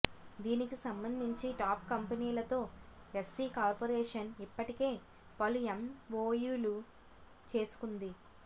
దీనికి సంబంధించి టాప్ కంపెనీలతో ఎస్సీ కార్పొరేషన్ ఇప్పటికే పలు ఎంవోయూలు చేసుకుంది